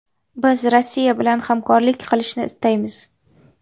Biz Rossiya bilan hamkorlik qilishni istaymiz.